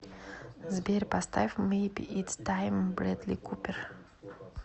сбер поставь мэйби итс тайм брэдли купер